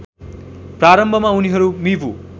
प्रारम्भमा उनीहरू मिबु